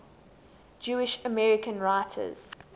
jewish american writers